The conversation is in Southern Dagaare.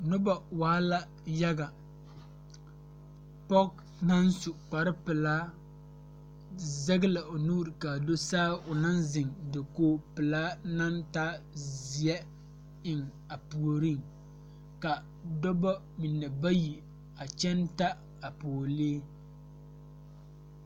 Nobɔ waa la yaga pɔge naŋ su kpare pelaa zege la o nuure kaa do saa o naŋ zeŋ dokoge pelaa naŋ taa zeɛ eŋ a puoriŋ ka dɔbɔ mine bayi a kyɛŋ ta a pɔɔlee.